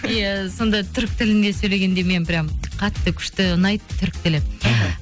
иә сонда түрік тілінде сөйлегенде мен прям қатты күшті ұнайды түрік тілі іхі